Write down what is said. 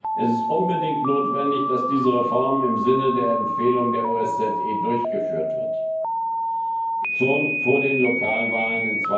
Es ist unbedingt notwendig, dass diese Reform im Sinne der Empfehlung der OSZE durchgeführt wird, und zwar schon vor den Lokalwahlen